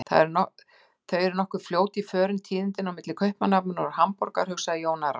Þau eru nokkuð fljót í förum tíðindin á milli Kaupmannahafnar og Hamborgar, hugsaði Jón Arason.